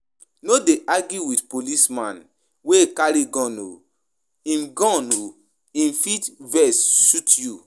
No dey argue wit policeman wey carry gun o,him gun o him fit vex shoot you.